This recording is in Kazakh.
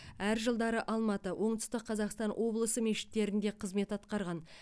әр жылдары алматы оңтүстік қазақстан облысы мешіттерінде қызмет атқарған